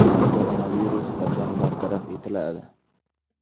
Koronavirus qachon bartaraf etiladi?